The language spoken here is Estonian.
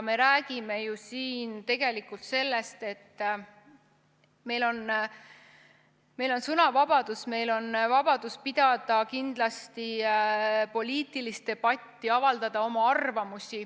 Me räägime siin ju tegelikult sellest, et meil on sõnavabadus, meil on vabadus pidada kindlasti poliitilist debatti, avaldada oma arvamusi.